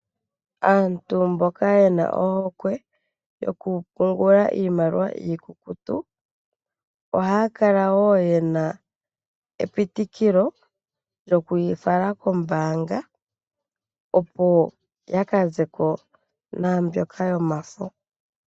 Aantu mboka ye na ohokwe yokupungula iimaliwa iikukutu ohaya kala wo ye na epitikilo lyoku yi fala kombaanga, opo ya ka ze ko naambyoka yomafo.